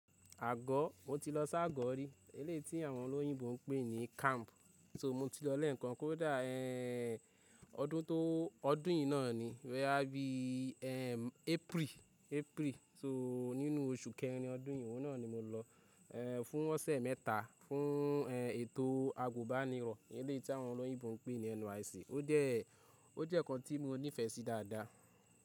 Àgọ́ mo ti lọ s'ágọ́ rí elétí àwọn olóyìnbo n pè ní camp. So mo ti lọ lé ǹkan kó dà ẹ́ẹ́ ọdún tó ọdún yìí náà ni rẹ́ bí i ẹ́ẹ́ April, April so nínú oṣù kẹrin ọdún yìí náà ni mo lọ ẹ́ẹ́ fún ọ̀sẹ̀ mẹ́ta fún ẹ́ẹ́ ètò àgùbànirọ̀ elétí àwọn olóyìnbo n pè ní NYSC. Ó jẹ́ ó jẹ́ ǹkan tí mo nífẹsí dáadáa.